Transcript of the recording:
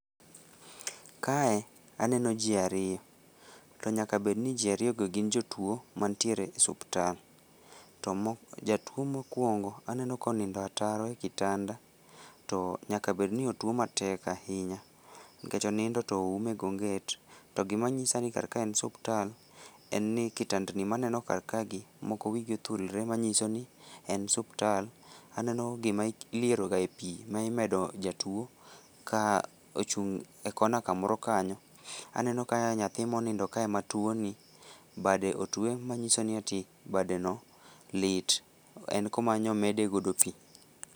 Kae aneno ji ariyo, to nyaka bed ni ji ariyogo gin jotuo mantiere e osiptal. To jatuo mokuongo aneno ka onindo ataro e otanda to nyaka bed ni otuo matek ahinya nikech onindo to oume gi onget. To gima nyisa ni kar kae en osiptal to kindandni ma aneno kar kagi, moko wigi othulre manyiso ni en osiptal. Aneno gima ilierogae pi ma imedo jatuo ka ochung' e kona kamoro kanyo. Aneno ka nyathi monindo kae ma tuoni, bade otue manyiso ni badeno lit, en kuma nyo omede godo pi.